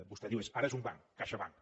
vostè diu ara és un banc caixabank